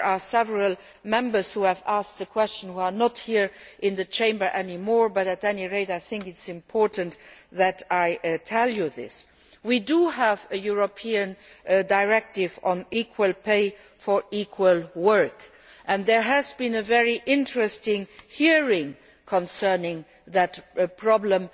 Several Members who asked this question are no longer in the Chamber but, at any rate, I think it is important that I tell you this. We do have a European directive on equal pay for equal work, and there was a very interesting hearing concerning that problem